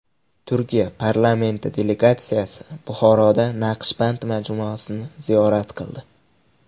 Turkiya parlamenti delegatsiyasi Buxoroda Naqshband majmuasini ziyorat qildi.